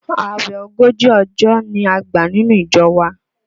Àwẹ̀ ogójì ọjọ́ ni a gbà nínú ìjọ wa